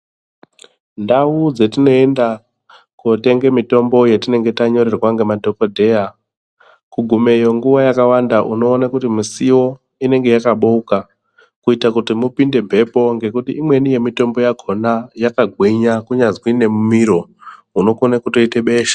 Ndau dzatinoenda kootenga mitombo yatinenge tanyorerwa ngemadhokodheya kugumeyo nguwa yakawanda unoone kuti misiwo inenge yakabouka kuite kuti mupinde mhepo. Ngekuti imweni mitombo yakona yakagwinya kunyazwi nemumiro unokone kutoite besha.